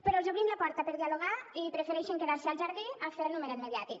però els obrim la porta per dialogar i prefereixen quedar se al jardí a fer el numeret mediàtic